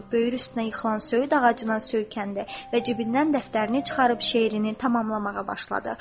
Böyür üstünə yıxılan söyüd ağacına söykəndi və cibindən dəftərini çıxarıb şeirini tamamlamağa başladı.